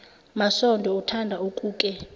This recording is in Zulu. masondo uthanda ukuke